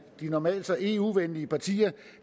normalt så eu venlige partier